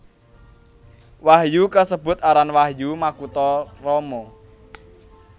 Wahyu kasebut aran Wahyu Makutha Rama